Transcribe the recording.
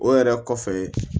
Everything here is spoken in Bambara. O yɛrɛ kɔfɛ